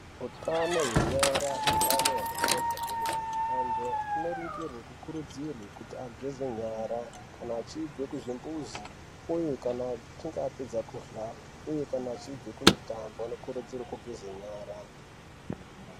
Hutano hwenyara utano hwakakosha hwemene antu anoringirwe kukurudzirwe kuti ageze nyara kana achibve kuzvimbuzi, uye kana achanga apedza kurya, uye kana achibve kumutambo anokurudzire kugeze nyara.